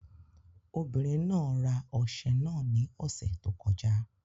Obìnrin náà ra ọṣẹ náà ní ọ̀sẹ̀ tó kọjá